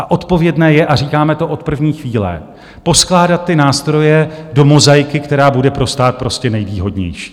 A odpovědné je - a říkáme to od první chvíle - poskládat ty nástroje do mozaiky, která bude pro stát prostě nejvýhodnější.